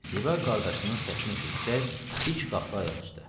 Ziba qardaşının səsini eşidəcək dik qalxdı ayaq üstə.